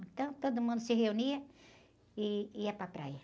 Então, todo mundo se reunia e ia para praia.